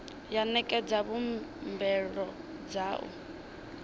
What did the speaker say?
ya ṋekedza mbuelo dza u